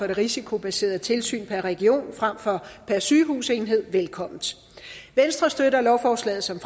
det risikobaserede tilsyn per region frem for per sygehusenhed velkommen venstre støtter lovforslaget som